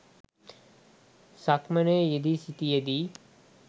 සක්මනේ යෙදී සිටියදී